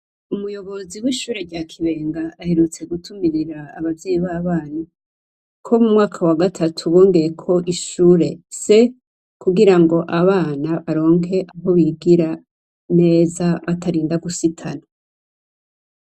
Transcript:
Umuyobozi w'ishure rya Kibenga, aherutse gutumirira, Abavyeyi baba KO mumwaka wagatatu bongeyeko ishure C,kugirango Abana baronke aho bigira neza batarinda gusitana.